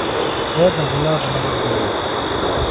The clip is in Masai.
Keeta kulo apurok ntweli